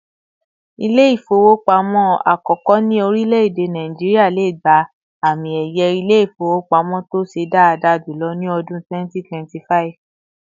İle-ifowopamo àkókò ni orìleede Nigeria lè gbà àmín ẹyẹ Ilé-ifowopamo tó ṣe daada julọ ni ọdún 2025